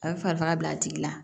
A bɛ farigan bila a tigi la